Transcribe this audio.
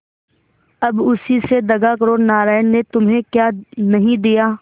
अब उसी से दगा करो नारायण ने तुम्हें क्या नहीं दिया